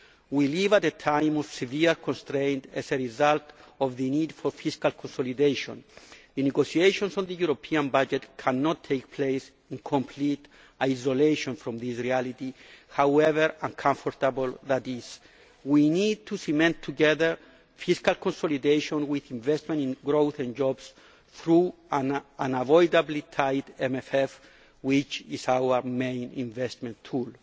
We live at a time of severe constraint as a result of the need for fiscal consolidation. The negotiations on the European budget cannot take place in complete isolation from this reality, however uncomfortable that is. We need to cement together fiscal consolidation with investment in growth and jobs through an unavoidably tight MFF, which is our main investment